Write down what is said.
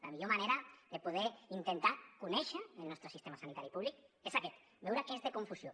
la millor manera de poder intentar conèixer el nostre sistema sanitari públic és aquest veure que és de confusió